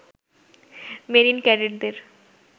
marine ক্যাডেটদের